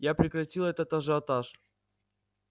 я прекратил этот ажиотаж